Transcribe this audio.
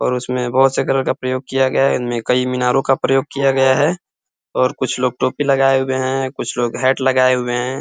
और उसमे बहुत से कलर का प्रयोग किया गया है इनमे कई मीनारों का प्रयोग किया गया है और कुछ लोग टोपी लगाए हुए है कुछ लोग हैट लगाए हुए है।